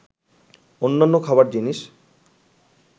অন্যান্য খাবার জিনিস